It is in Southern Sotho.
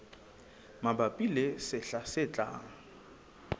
mabapi le sehla se tlang